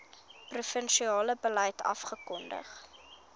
provinsiale beleid afgekondig